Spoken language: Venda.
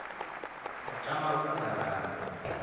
ri tama u khoḓa vhalanguli